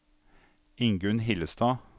Ingunn Hillestad